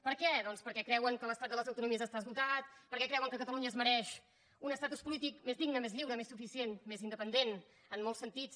per què doncs perquè creuen que l’estat de les autonomies està esgotat perquè creuen que catalunya es mereix un estatus polític més digne més lliure més suficient més independent en molts sentits